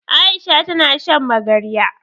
Aisha ta na shan magarya.